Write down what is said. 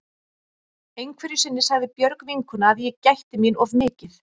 Einhverju sinni sagði Björg vinkona að ég gætti mín of mikið.